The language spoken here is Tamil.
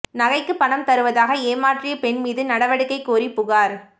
நகைக்கு பணம் தருவதாக ஏமாற்றிய பெண் மீது நடவடிக்கை கோரி புகாா்